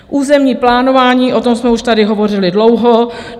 Územní plánování, o tom jsme už tady hovořili dlouho.